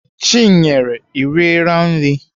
Chinyere, I riela nri?